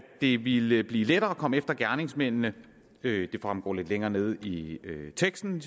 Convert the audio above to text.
det ville blive lettere at komme efter gerningsmændene det fremgår lidt længere nede i teksten